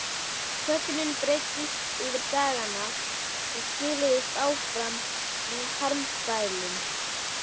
Þögnin breiddist yfir dagana sem siluðust áfram með harmkvælum.